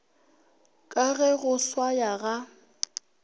ka ge go swaya ga